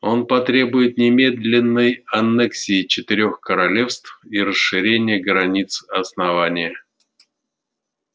он потребует немедленной аннексии четырёх королевств и расширения границ основания